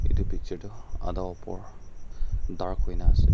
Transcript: itu picture tu ada opor dark huina ase.